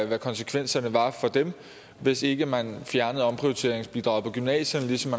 hvad konsekvenserne var for dem hvis ikke man fjernede omprioriteringsbidraget på gymnasierne ligesom